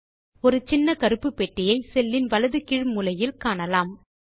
இப்போது நீங்கள் ஒரு சின்ன கருப்பு பெட்டியை செல்லில் வலது கீழ் மூலையில் காணலாம்